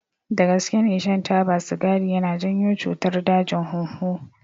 Dagaske ne shan taba sigari yana janyo cutar dajin hunhu.